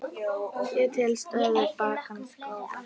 Ég tel stöðu bankans góða.